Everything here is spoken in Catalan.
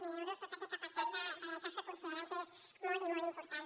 zero euros tot aquest apartat de beques que considerem que és molt i molt important